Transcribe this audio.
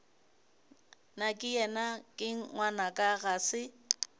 nakeyena ke ngwanaka ga se